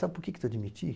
Sabe por que eu te admiti?